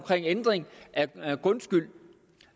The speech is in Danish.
ændring af grundskyld